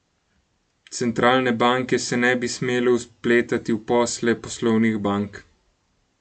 Centralne banke se ne bi smele vpletati v posle poslovnih bank.